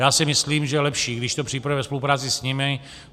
Já si myslím, že je lepší, když to připravíme ve spolupráci s nimi.